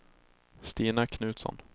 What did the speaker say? Stina Knutsson